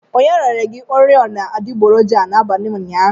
Onye rere gi oriọna adịgboroja a n'abalị ụnyaahụ?